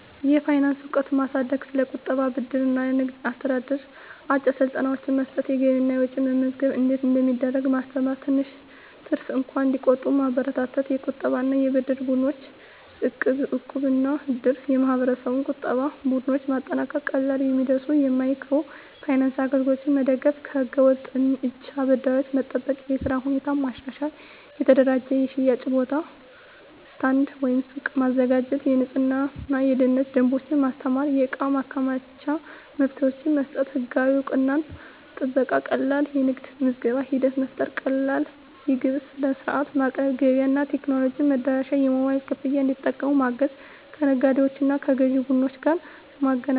የፋይናንስ እውቀት ማሳደግ ስለ ቁጠባ፣ ብድር እና ንግድ አስተዳደር አጭር ስልጠናዎች መስጠት የገቢና ወጪ መመዝገብ እንዴት እንደሚደረግ ማስተማር ትንሽ ትርፍ እንኳን እንዲቆጠብ መበረታታት የቁጠባና የብድር ቡድኖች (እቃብ/እድር ) የማህበረሰብ ቁጠባ ቡድኖች ማጠናከር ቀላል የሚደርሱ የማይክሮ ፋይናንስ አገልግሎቶች መደገፍ ከህገ-ወጥ እጅ አበዳሪዎች መጠበቅ የሥራ ሁኔታ ማሻሻል የተደራጀ የሽያጭ ቦታ (ስታንድ/ሱቅ) ማዘጋጀት የንፅህናና የደህንነት ደንቦች ማስተማር የእቃ ማከማቻ መፍትሄዎች መስጠት ህጋዊ እውቅናና ጥበቃ ቀላል የንግድ ምዝገባ ሂደት መፍጠር ቀላል የግብር ሥርዓት ማቅረብ ገበያ እና ቴክኖሎጂ መድረሻ የሞባይል ክፍያ እንዲጠቀሙ ማገዝ ከነጋዴዎችና ከግዥ ቡድኖች ጋር ማገናኘት